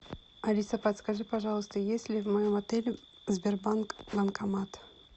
алиса подскажи пожалуйста есть ли в моем отеле сбербанк банкомат